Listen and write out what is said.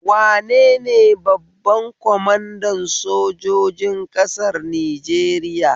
Wanene babban kwamanda sojojin ƙasar Nijeriya?